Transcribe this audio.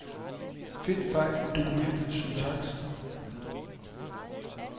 Find fejl i dokumentets syntaks.